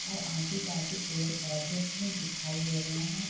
और आजू-बाजू पेड़-पौधे भी दिखाई दे रहे है।